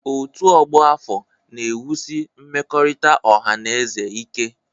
Ọ́tù ọgbọ afọ na-ewusi mmekọrịta ọha na eze ike.